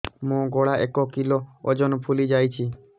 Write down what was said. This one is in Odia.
ମୋ ଗଳା ଏକ କିଲୋ ଓଜନ ଫୁଲି ଯାଉଛି